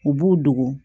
U b'u dogo